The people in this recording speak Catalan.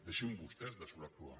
deixin vostès de sobreactuar